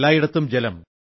എല്ലായിടത്തും ജലം